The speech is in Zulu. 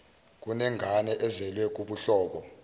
kunengane ezelwe kubuhlobo